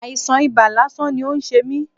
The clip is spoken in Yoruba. Àìsàn ibà lásán ni ó ń ṣe mí.